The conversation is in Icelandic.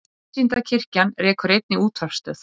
Vísindakirkjan rekur einnig útvarpsstöð.